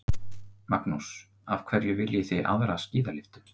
Magnús: Af hverju viljið þið aðra skíðalyftu?